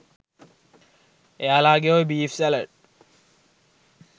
එයාලගේ ඔය beef salad